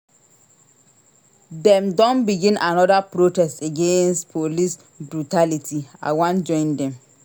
Dem don begin anoda protest against police brutality I wan join dem.